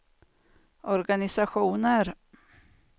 organisationer